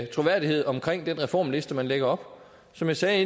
troværdighed omkring den reformliste man lægger op som jeg sagde